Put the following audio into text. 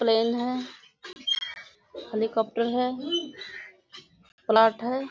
Plane है helicopter है plot है।